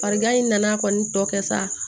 Farigan in nana kɔni tɔ kɛ sa